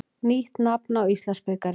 Nýtt nafn á Íslandsbikarinn.